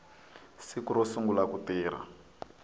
siku ro sungula ku tirha